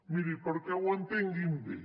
miri perquè ho entenguin bé